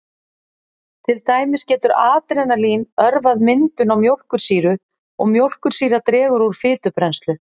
Til dæmis getur adrenalín örvað myndun á mjólkursýru og mjólkursýra dregur úr fitubrennslu.